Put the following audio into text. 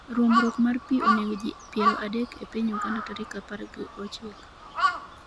ruombruok mar pee onego ji piero adek e piny Uganda Tarik apar gi ochiko